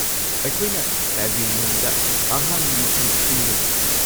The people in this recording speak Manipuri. ꯑꯩꯈꯣꯏꯅ ꯄꯦꯚꯤꯂꯤꯌꯟꯗ ꯑꯍꯥꯡꯕ ꯃꯐꯝ ꯁꯤꯟꯒꯅꯤ꯫